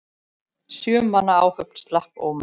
Sjö manna áhöfn slapp ómeidd.